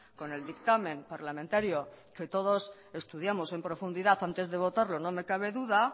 con el dictamen parlamentario que todos estudiamos en profundidad antes de votarlo no me cabe duda